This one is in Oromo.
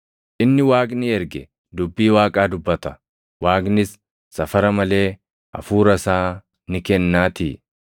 Inni Waaqni erge dubbii Waaqaa dubbata; Waaqnis safara malee Hafuura isaa ni kennaatii.